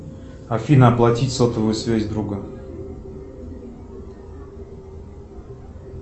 афина оплатить сотовую связь друга